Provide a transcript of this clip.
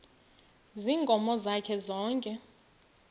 ziinkomo zakhe zonke